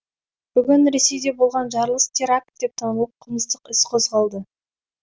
бүгін ресейде болған жарылыс теракт деп танылып қылмыстық іс қозғалды